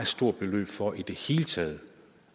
stort beløb for i det hele taget